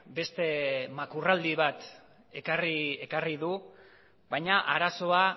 beste makurraldi bat ekarri du baina arazoa